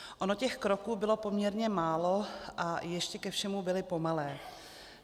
Ono těch kroků bylo poměrně málo, a ještě ke všemu byly pomalé.